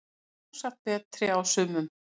Sjálfsagt betri á sumum